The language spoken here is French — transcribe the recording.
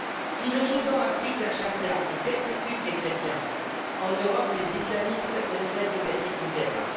Si le Soudan applique la charia et persécute les chrétiens, en Europe, les islamistes ne cessent de gagner du terrain.